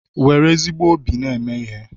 Nwere ezigbo obi na-eme ihe